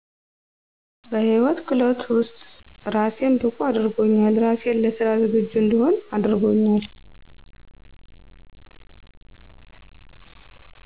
በህይወት ክህሎት ውስጥ ራሴን ብቁ አድርጎኛል ራሴን ለስራ ዝግጁ እንድሆን አድርጎኛል